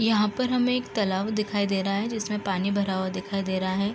यहाँ पर हमें एक तालाब दिखाई दे रहा है जिसमें पानी भरा हुआ दिखाई दे रहा है।